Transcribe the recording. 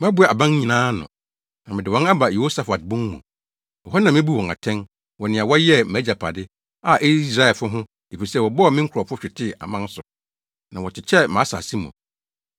Mɛboa aman nyinaa ano, na mede wɔn aba Yehosafat bon mu. Ɛhɔ na mebu wɔn atɛn wɔ nea wɔyɛɛ mʼagyapade, a ɛyɛ Israelfo ho, efisɛ wɔbɔɔ me nkurɔfo hwetee aman so, na wɔkyekyɛɛ mʼasase mu.